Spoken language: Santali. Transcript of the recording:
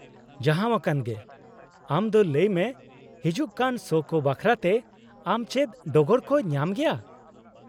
-ᱡᱟᱦᱟᱸᱣᱟᱠᱟᱱ ᱜᱮ , ᱟᱢ ᱫᱚ ᱞᱟᱹᱭ ᱢᱮ , ᱦᱤᱡᱩᱜ ᱠᱟᱱ ᱥᱳ ᱠᱚ ᱵᱟᱠᱷᱨᱟᱛᱮ ᱟᱢ ᱪᱮᱫ ᱰᱚᱜᱚᱨ ᱠᱚ ᱧᱟᱢ ᱜᱮᱭᱟ ?